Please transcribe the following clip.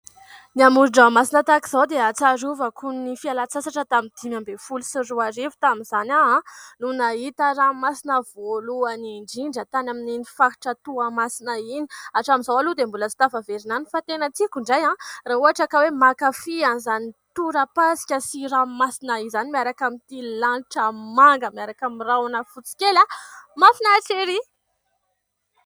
Ny amoron- dranomasina tahaka izao dia ahatsiarovako ny fialan- tsasatra tamin'ny dimy ambin' ny folo sy roa arivo, tamin' izany aho no nahita ranomasina voalohany indrindra, tany amin' ny faritra Toamasina iny. Hatramin' izao aloha dia mbola tsy tafaverina tany fa tena tiako indray raha ohatra ka hoe mankafy an' izany torapasika sy ranomasina izany, miaraka amin' ity lanitra manga, miaraka amin' ny rahona fotsy kely mahafinaritra ery.